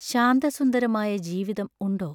ശാന്തസുന്ദരമായ ജീവിതം ഉണ്ടോ?